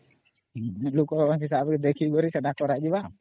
ଲୋକ ହିସାବରେ ଦେଖିକି ସେଟା କରାଯିବା